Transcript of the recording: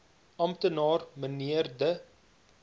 amptenaar mnr de